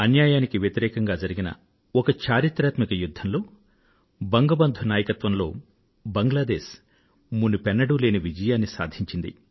అన్యాయానికి వ్యతిరేకంగా జరిగిన ఒక చరిత్రాత్మక యుధ్ధంలో బంగబంధు నాయకత్వంలో బంగ్లాదేశ్ మునుపెన్నడూ లేని విజయాన్ని సాధించింది